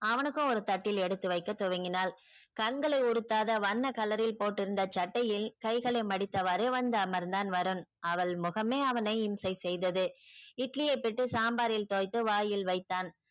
அவனுக்கும் ஒரு தட்டில் எடுத்து வைக்கத் துவங்கினாள் கண்களை உடுத்தாத வண்ண கலரில் போட்டு இருந்த சட்டையில் கைகளை மடித்தவாறு வந்து அமர்ந்தான் வருண். அவள் முகமே அவனை இம்சை செய்தது. இட்லியை பிட்டு சாம்பாரில் துவைத்து வாயில் வைத்தான்